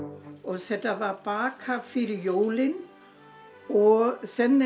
þetta var bakað fyrir jólin og